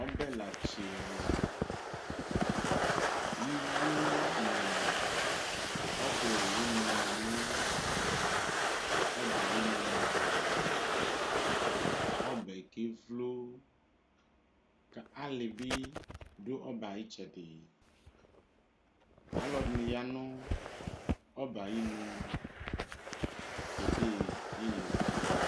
Ɔbɛ latsui iwo nʋ ɔbɛ owʋni manʋ ɔbɛ ayʋ inʋ ɔbɛ kevlo kʋ alibi dʋ ɔbɛ ayʋ itsɛdi alʋɛdini yanu ɔbɛ ayʋ inʋ kede iyeye zɛlɛ